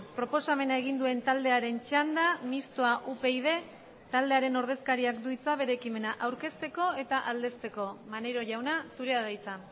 proposamena egin duen taldearen txanda mixtoa upyd taldearen ordezkariak du hitza bere ekimena aurkezteko eta aldezteko maneiro jauna zurea da hitza